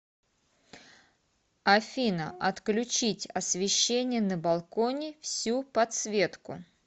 афина отключить освещение на балконе всю подсветку